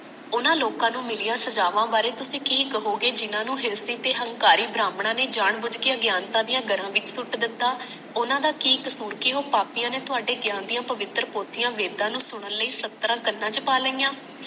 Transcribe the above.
ਉਹਨਾਂ ਲੋਕਾਂ ਨੂੰ ਮਿਲੀਆਂ ਸਜਾਵਾਂ ਬਾਰੇ ਤੁਸੀ ਕਿ ਕਹੋਗੇ ਜਿਹਨਾਂ ਨੂੰ ਤੇ ਹੰਕਾਰੀ ਬ੍ਰਾਹਮਣਾ ਨੇ ਜਾਨ ਬੁਝ ਕੇ ਅਗਿਆਨਤਾ ਦੀਆਂ ਜੜਾ ਵਿੱਚ ਸੁੱਟ ਦਿਤਾ ਉਹਨਾਂ ਦਾ ਕਿ ਕਸੂਰ ਕਿ ਉਹ ਪਾਪੀਆਂ ਨੇ ਥੋੜੇ ਗਿਆਨ ਦੀਆਂ ਪਵਿੱਤਰ ਪੋਥੀਆਂ ਵੇਦਾਂ ਨੂੰ ਸੁਣਨ ਲਈ ਸਤਰਾਂ ਕਨਾਂ ਚ ਪਾ ਲਈਆਂ